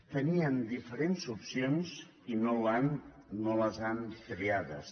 tenien diferents opcions i no les han triades